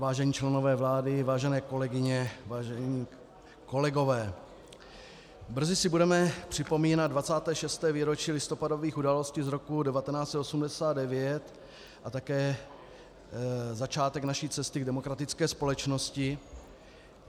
Vážení členové vlády, vážené kolegyně, vážení kolegové, brzy si budeme připomínat 26. výročí listopadových událostí z roku 1989 a také začátek naší cesty k demokratické společnosti.